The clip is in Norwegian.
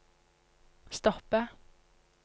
stoppe